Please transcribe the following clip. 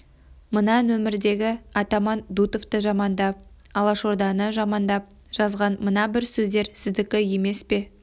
мына нөмірдегі атаман дутовты жамандап алашорданы жамандап жазған мына бір сөздер сіздікі емес пе